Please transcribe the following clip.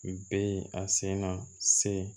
Be a senna se